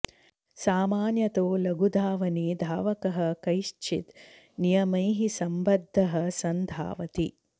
सामान्यतो लघुधावने धावकः कैश्चिद् नियमैः सम्बद्धः सन् धावति